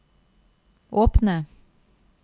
åpne